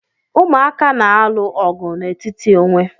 Umụaka na-alụ ọgụ n'etiti onwe